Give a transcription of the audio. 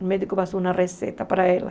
O médico passou uma receita para ela.